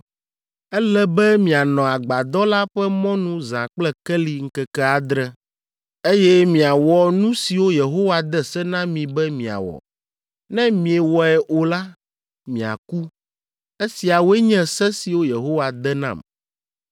Ele be mianɔ Agbadɔ la ƒe mɔnu zã kple keli ŋkeke adre, eye miawɔ nu siwo Yehowa de se na mi be miawɔ. Ne miewɔe o la, miaku. Esiawoe nye se siwo Yehowa de nam.”